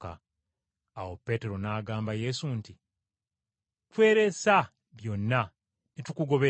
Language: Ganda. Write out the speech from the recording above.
Awo Peetero n’agamba Yesu nti, “Tweresa byonna ne tukugoberera.”